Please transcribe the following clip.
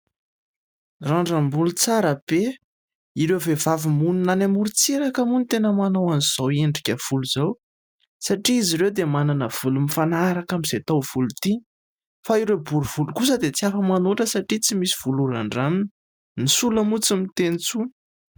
randramboly tsara pe ireo vehivavy mony nany amory tseraka moa ny tena manao an'izao endrika volo izao satria izy ireo dia manana voly mifanaharaka amin'izay tao voly ity fa ireo borivoly kosa dia tsy afa manoatra satria tsy misy volohran-dramina ny sola moa tsy miteny intsony